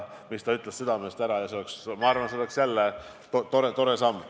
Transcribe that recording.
See oleks, ma arvan, väga tore samm.